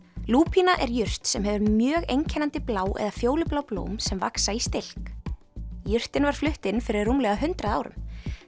lúpína er jurt sem hefur mjög einkennandi blá eða fjólublá blóm sem vaxa í stilk jurtin var flutt inn fyrir rúmlega hundrað árum